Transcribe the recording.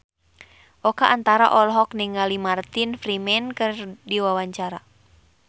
Oka Antara olohok ningali Martin Freeman keur diwawancara